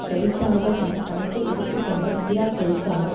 தொழிற்சாலைகள் என கணக்கில் எடுத்து கொண்ட ஈராக் தொழிற்சாலைகள்